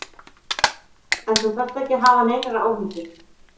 En þú þarft ekki að hafa neinar áhyggjur.